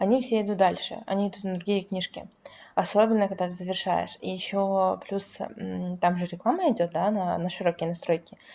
они все идут дальше они идут на другие книжки особенно когда завершаешь и ещё плюс там же реклама идёт да на широкие настройки